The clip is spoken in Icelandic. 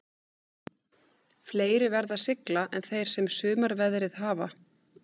Fleiri verða að sigla en þeir sem sumarveðrið hafa.